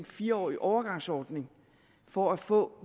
fire årige overgangsordning for at få